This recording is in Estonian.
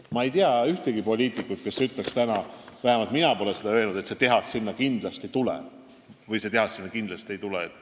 Ma ei tea ühtegi poliitikut, kes täna ütleks, et see tehas sinna kindlasti tuleb või see tehas sinna kindlasti ei tule.